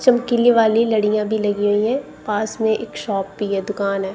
चमकीली वाली लड़ियां भी लगी हुई है पास में एक शॉप भी है दुकान है।